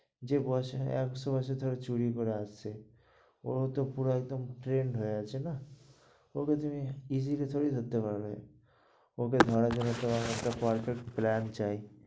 যে বছরে একশো বছর ধরে চুরি করে আসছে, ওরা তো পুরো তো একদম trend হয়ে আছে না. ওকে তুমি easily থোড়ি না ধরতে পারবে? ওকে ঘাড়ে ধরে আনতে perfect plan চাই.